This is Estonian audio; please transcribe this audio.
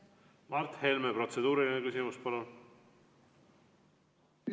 Mart Helme, protseduuriline küsimus, palun!